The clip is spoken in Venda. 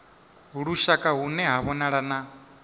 lushaka hune ha vhonala na